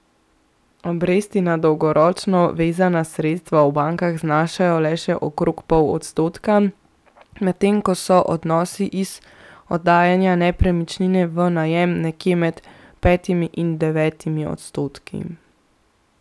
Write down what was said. Obresti na dolgoročno vezana sredstva v bankah znašajo le še okrog pol odstotka, medtem ko so donosi iz oddajanja nepremičnine v najem nekje med petimi in devetimi odstotki.